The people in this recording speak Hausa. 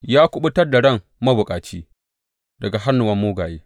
Ya kuɓutar da ran mabukaci daga hannuwan mugaye.